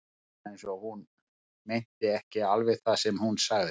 Það var eins og hún meinti ekki alveg það sem hún sagði.